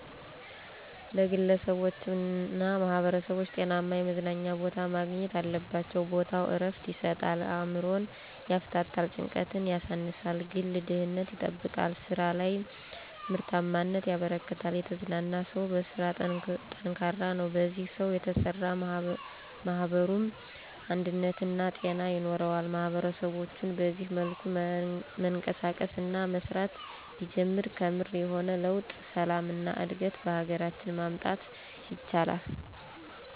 ለግለሰቦችና ማህበረሰቦች ጤናማ የመዝናኛ ቦታ ማግኘት አለባቸው። ቦታው ዕረፍት ይሰጣል፣ አእምሮን ያፍታታል፣ ጭንቀትን ያሳንሳል፣ ግል ደህንነት ይጠብቃል፣ ስራ ላይ ምርታማነት ያበረክታል። የተዝናና ሰው በስራ ጠንካራ ነው፣ በዚህ ሰው የተሰራ ማኅበሩም አንድነትና ጤና ይኖረዋል። ማህበረሰባችን በዚህ መልኩ መንቀሳቀስ እና መስራት ቢጀምር ከምር የሆነ ለውጥ፣ ሰላም እና እድገት በሀገራችን ማምጣት ይችላል።